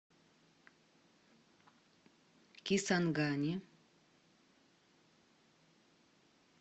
кисангани